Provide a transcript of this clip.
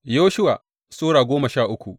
Yoshuwa Sura goma sha uku